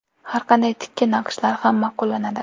Har qanday tikka naqshlar ham ma’qullanadi.